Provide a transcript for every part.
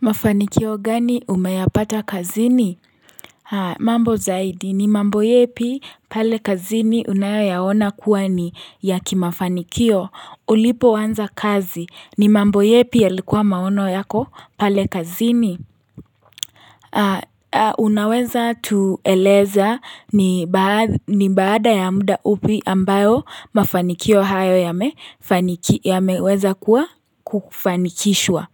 Mafanikio gani umeyapata kazini? Mambo zaidi, ni mambo yepi pale kazini unayoyaona kuwa ni ya kimafanikio ulipoanza kazi. Ni mambo yepi yalikuwa maono yako pale kazini? Unaweza tueleza ni baada ya muda upi ambayo mafanikio hayo yameweza kuwa kufanikishwa.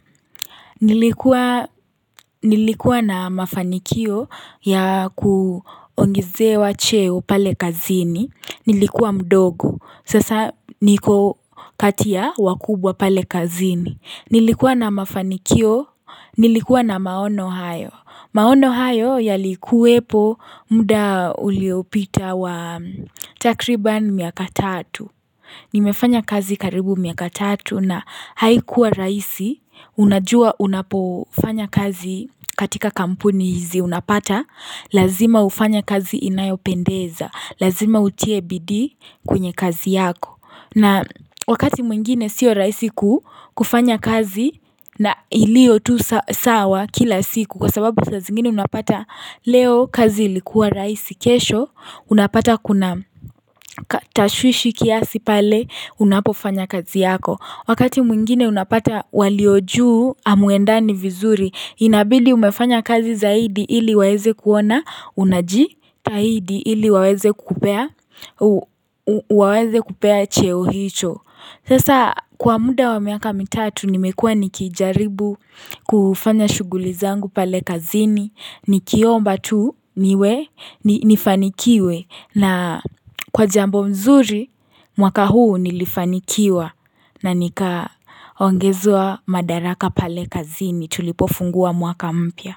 Nilikuwa na mafanikio ya kuongezewa cheo pale kazini Nilikuwa mdogo Sasa niko kati ya wakubwa pale kazini Nilikuwa na mafanikio Nilikuwa na maono hayo maono hayo yalikuwepo muda uliopita wa takribani miaka tatu nimefanya kazi karibu miaka tatu na haikuwa rahisi Unajua unapofanya kazi katika kampuni hizi unapata Lazima ufanye kazi inayo pendeza Lazima utie bidii kwenye kazi yako na wakati mwingine siyo raisi ku kufanya kazi na ilio tu sawa kila siku Kwa sababu saa zingine unapata leo kazi ilikuwa raisi kesho Unapata kuna tashwishi kiasi pale unapofanya kazi yako Wakati mwingine unapata waliojuu amuendani vizuri Inabidi umefanya kazi zaidi ili waweze kuona unaji tahidi ili waweze kupea cheo hicho Sasa kwa muda wa miaka mitatu nimekua nikijaribu kufanya shuguli zangu pale kazini Nikiomba tu niwe nifanikiwe na kwa jambo mzuri mwaka huu nilifanikiwa na nika ongezwa madaraka pale kazi ni tulipofungua mwaka mpya.